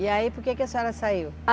E aí, por que que a senhora saiu?